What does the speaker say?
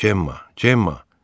Cemma, Cemma!